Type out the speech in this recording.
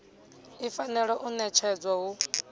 i fanela u ṋetshedzwa hu